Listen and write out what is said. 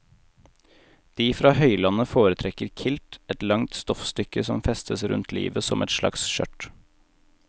De fra høylandet foretrekker kilt, et langt stoffstykke som festes rundt livet som et slags skjørt.